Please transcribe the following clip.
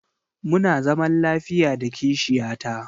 Muna zaman lafiya da kishiya ta.